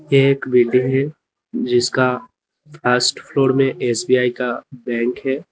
ये एक बिल्डिंग है जिसका फर्स्ट फ्लोर में एस_बी_आई का बैंक है।